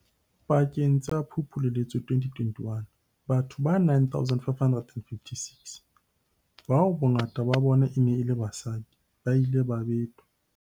Pakeng tsa Phupu le Loetse 2021, batho ba 9 556, bao bongata ba bona e neng e le basadi, ba ile ba betwa.